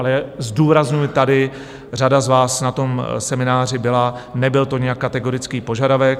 Ale zdůrazňuji tady, řada z vás na tom semináři byla, nebyl to nijak kategorický požadavek.